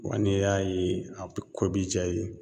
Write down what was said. Wa ne y'a ye a be ko bi ja i ye